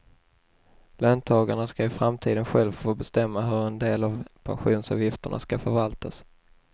Löntagarna ska i framtiden själva få bestämma hur en del av pensionsavgifterna ska förvaltas.